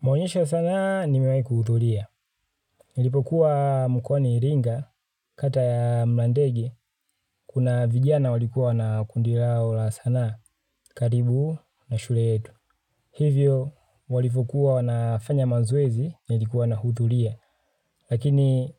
Maonyesho ya sanaa nimewahi kuhudhuria. Nilipokuwa mkwani iringa kati ya mlandege, kuna vijana walikuwa na kundi lao la sanaa karibu na shule yetu. Hivyo walivyokuwa wanafanya mazoezi nilikuwa nahudhuria. Lakini